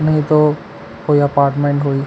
नहीं तो कोई अपार्टमेंट हुई--